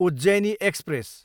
Ujjaini express